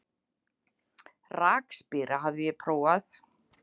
Rakspíra hafði ég prófað.